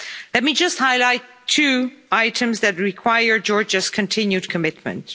Let me just highlight two items that require Georgia's continued commitment.